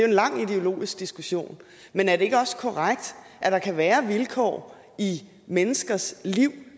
en lang ideologisk diskussion men er det ikke også korrekt at der kan være vilkår i menneskers liv